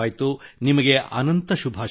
ನಿಮಗೆ ಅನಂತ ಶುಭಾಶಯಗಳು